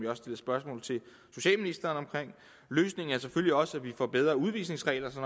har stillet spørgsmål til socialministeren om løsningen er selvfølgelig også at vi får bedre udvisningsregler så